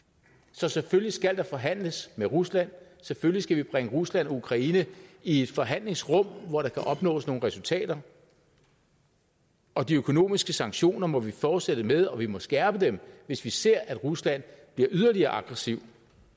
så selvfølgelig skal der forhandles med rusland selvfølgelig skal vi bringe rusland og ukraine i et forhandlingsrum hvor der opnås nogle resultater og de økonomiske sanktioner må vi fortsætte med og vi må skærpe dem hvis vi ser at rusland bliver yderligere aggressiv